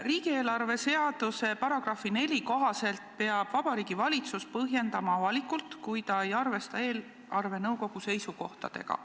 Riigieelarve seaduse § 4 kohaselt peab Vabariigi Valitsus seda avalikult põhjendama, kui ta ei arvesta eelarvenõukogu seisukohtadega.